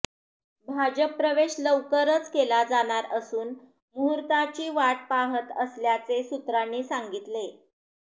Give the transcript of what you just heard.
भाजप प्रवेश लवकरच केला जाणार असून मुहूर्ताची वाट पाहत असल्याचे सूत्रांनी सांगितले